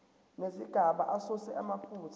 nezigaba asuse amaphutha